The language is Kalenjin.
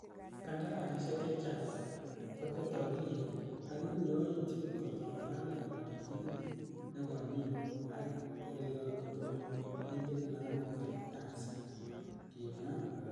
Kandarasisiek chechang ko tete okiliek, ak iku yoitie ingot ongalalen koyonyinet nekonyine ak okiliot kotomo inde kilamit kartasit,''kimwa muren.